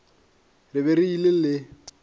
re be re ile le